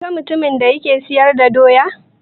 Ka ga mutumin da yake siyar da Doya?